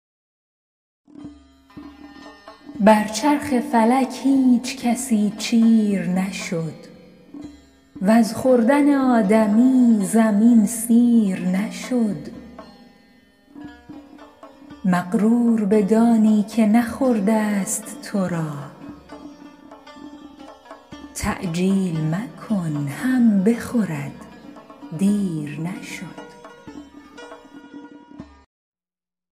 بر چرخ فلک هیچ کسی چیر نشد وز خوردن آدمی زمین سیر نشد مغرور بدانی که نخورده ست تو را تعجیل مکن هم بخورد دیر نشد